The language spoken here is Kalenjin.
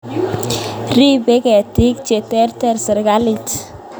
Ripei ketik che terter sirikalit